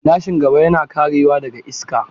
Gilashin gaba yana karewa daga iska.